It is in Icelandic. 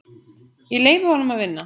Ég leyfi honum að vinna.